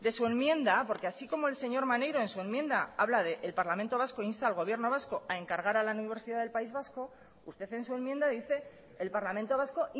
su enmienda porque así como el señor maneiro en su enmienda habla de el parlamento vasco insta al gobierno vasco a encargar a la universidad del país vasco usted en su enmienda dice el parlamento vasco